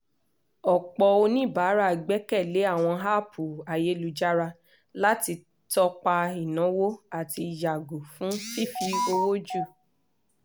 ọ̀pọ̀ oníbàárà gbẹ́kẹ̀ lé àwọn app ayélujára láti tọ́pa ináwó àti yàgò fún fífi owó jù